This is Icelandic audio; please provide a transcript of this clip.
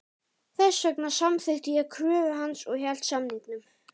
Þess vegna samþykkti ég kröfu hans og hélt samningnum.